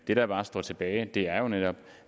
det der bare står tilbage er jo netop